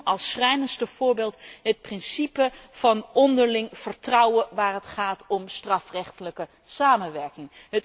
Ik noem als schrijnendste voorbeeld het principe van onderling vertrouwen op het gebied van strafrechtelijke samenwerking.